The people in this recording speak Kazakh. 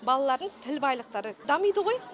балалардың тіл байлықтары дамиды ғой